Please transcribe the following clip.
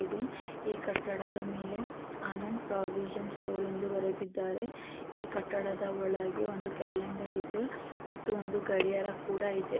ಈ ಕಟ್ಟಡದ ಮೇಲೆ ಆನಂದ್ ಪ್ರೋವಿಷನ್ ಸ್ಟೋರ್ ಎಂದು ಬರೆದಿದ್ದಾರೆ ಈ ಕಟ್ಟಡದ ಒಳಗೆ ಒಂದು ಕ್ಯಾಲೆಂಡರ್ ಇದೆ ಮತ್ತು ಒಂದು ಗಡಿಯಾರ ಕೂಡ ಇದೆ.